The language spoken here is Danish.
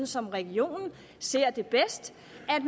som regionen ser det bedst